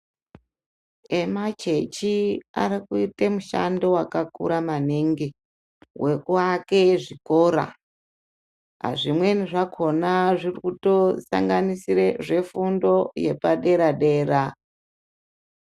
Emachechi arikuite mushando wakakura maningi wekuake zvikora. Zvimweni zvakhona zvirikutosanganisire zvefundo yepadera-dera.